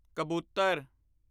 ਕਬੂਤਰ